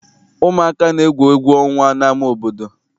Ụmụaka na-egwu egwu ọnwa n'ama obodo.